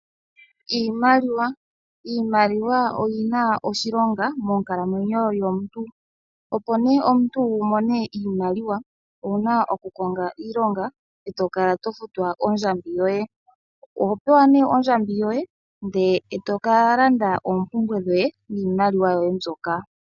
Iimaliwa Iimaliwa oyi na oshilonga monkalamwenyo yomuntu. Opo nee omuntu wu mone iimaliwa owu na oku konga iilonga eto kala to futwa ondjambi yoye. Oho pewa nee ondjambi yoye ndele eto ka landa oompumbwe dhoye niimaliwa yoye mbyoka.